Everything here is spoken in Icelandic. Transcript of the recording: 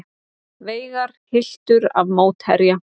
Veigar hylltur af mótherja